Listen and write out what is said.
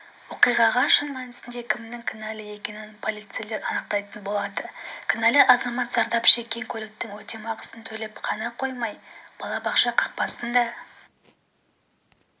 оқиғаға шын мәнісінде кімнің кінәлі екенін полицейлер анықтайтын болады кінәлі азамат зардап шеккен көліктің өтемақысын төлеп қана қоймай балабақша қақпасын да